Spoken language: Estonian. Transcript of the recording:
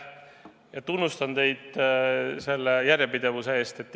Ma tunnustan teid järjepidevuse eest!